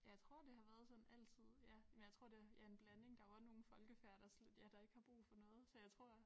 Ja jeg tror det har været sådan altid ja men jeg tror det ja en blanding der jo også nogle folkefærd der slet ikke ja der ikke har brug for noget så jeg tror